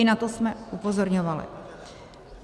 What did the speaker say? I na to jsme upozorňovali.